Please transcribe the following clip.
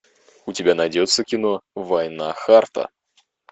у тебя найдется кино война харта